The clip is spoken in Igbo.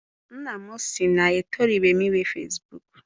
Nna m si na-etorubeghi m inwe fesibuuku.